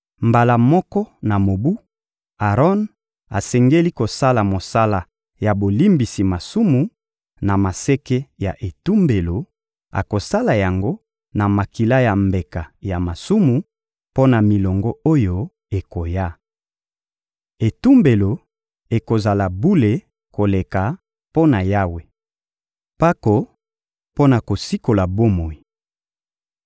Mbala moko na mobu, Aron asengeli kosala mosala ya bolimbisi masumu, na maseke ya etumbelo; akosala yango na makila ya mbeka ya masumu mpo na milongo oyo ekoya. Etumbelo ekozala bule koleka mpo na Yawe. Mpako mpo na kosikola bomoi